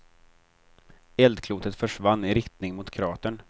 Eldklotet försvann i riktning mot kratern.